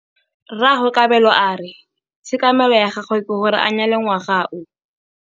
Rragwe Kabelo a re tshekamêlô ya gagwe ke gore a nyale ngwaga o.